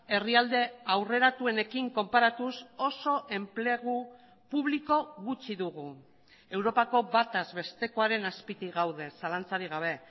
herrialde aurreratuenekin konparatuz oso enplegu publiko gutxi dugu europako bataz bestekoaren azpitik gaude zalantzarik gabe